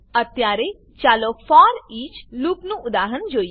અત્યારે ચાલો ફોરઈચ લૂપનું ઉદાહરણ જોઈએ